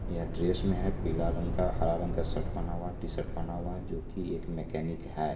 यह ड्रेस में है पीला रंग का हरा रंग का शर्ट पहना हुआ है टी_शर्ट पहना हुआ है जो की एक मैकेनिक है ।